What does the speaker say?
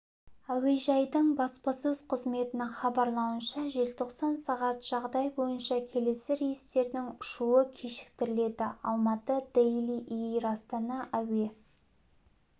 әуежайдың баспасөз қызметінің хабарлауынша желтоқсан сағат жағдай бойынша келесі рейстердің ұшуы кешіктіріледі алматы-дели эйр астана әуе